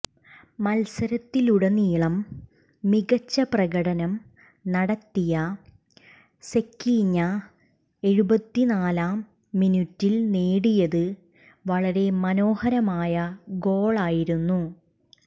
മത്സരത്തിലുടനീളം മികച്ച പ്രകടനം നടത്തിയ സെക്കീഞ്ഞ എഴുപത്തിനാലാം മിനുറ്റിൽ നേടിയത് വളരെ മനോഹരമായ ഗോളായിരുന്നു